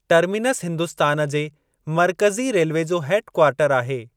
Terminus Hindustan जे मर्कज़ी railway जो हेड कवार्टरु आहे।